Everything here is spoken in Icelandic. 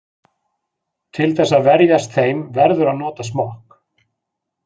Til þess að verjast þeim verður að nota smokk.